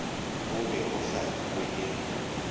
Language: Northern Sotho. go be go hlabilwe ye